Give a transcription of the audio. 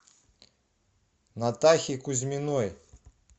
натахи кузьминой